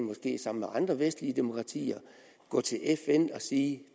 måske sammen med andre vestlige demokratier gå til fn og sige